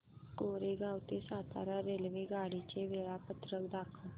कोरेगाव ते सातारा रेल्वेगाडी चे वेळापत्रक दाखव